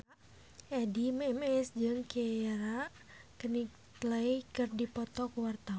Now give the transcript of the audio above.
Addie MS jeung Keira Knightley keur dipoto ku wartawan